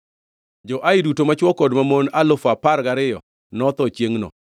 Jo-Ai duto machwo kod mamon alufu apar gariyo notho chiengʼno.